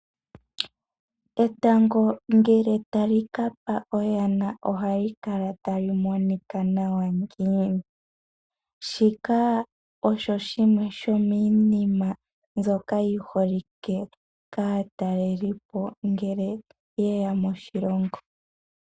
Etango ngele tali ka pa oyana, oha li kala tali monika nawa ngiini. Shika osho shimwe shomiinima mbyoka yi holike kaa talelipo ngele yeya mo shilongo.